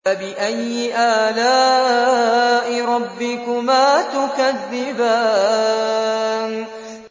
فَبِأَيِّ آلَاءِ رَبِّكُمَا تُكَذِّبَانِ